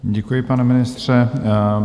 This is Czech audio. Děkuji, pane ministře.